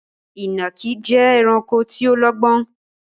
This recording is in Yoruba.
Ìnàkí jẹ́ ẹranko tí ó lọ́gbọ́n